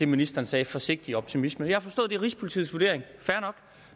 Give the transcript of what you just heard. ministeren sagde forsigtig optimisme jeg har forstået er rigspolitiets vurdering fair nok